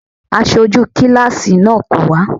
Aṣojú kíláàsì náà kò wá.